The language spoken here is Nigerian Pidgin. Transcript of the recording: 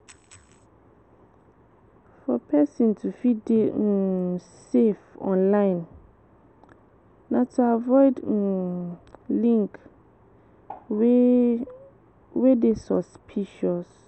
For person to fit dey um safe online na to avoid um link wey wey dey suspicious